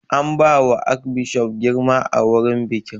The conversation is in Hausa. An ba wa arkbishof girma a wurin bikin